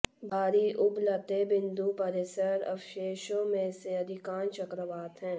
भारी उबलते बिंदु परिसर अवशेषों में से अधिकांश चक्रवात हैं